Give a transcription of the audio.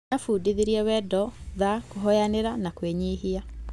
Nĩabundithirie wendo, tha, kũohanĩra na kwĩnyihia.